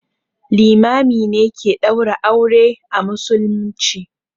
Limami ke ɗaura aure a musulmci.